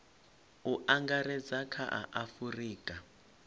u angaredza kha a afurika